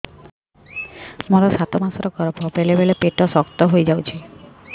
ମୋର ସାତ ମାସ ଗର୍ଭ ବେଳେ ବେଳେ ପେଟ ଶକ୍ତ ହେଇଯାଉଛି